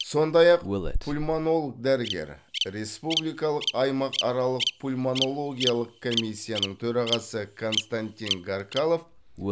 сондай ақ пульмонолог дәрігер республикалық аймақаралық пульмонологиялық комиссияның төрағасы константин гаркалов